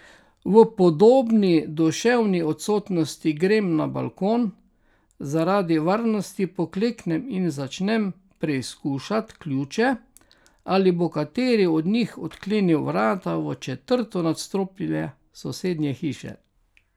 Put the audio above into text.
V podobni duševni odsotnosti grem na balkon, zaradi varnosti pokleknem in začnem preizkušat ključe, ali bo kateri od njih odklenil vrata v četrto nadstropje sosedne hiše.